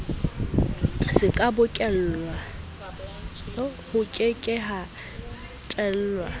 ho ke ke ha tellwa